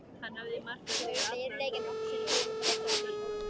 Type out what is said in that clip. Hann hafði makað sig allan út í einhverjum svörtum áburði.